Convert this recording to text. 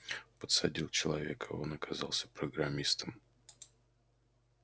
подсадил человека а он оказался программистом